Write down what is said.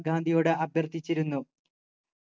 ഗാന്ധിയോട് അഭ്യർത്ഥിച്ചിരുന്നു